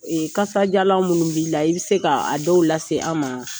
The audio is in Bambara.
Kasajalan minnu b'i la, i bɛ se k'a dɔw lase an ma ?